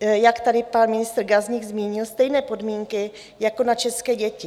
jak tady pan ministr Gazdík zmínil, stejné podmínky jako na české děti.